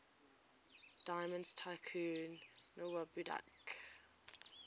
diamond tycoon nwabudike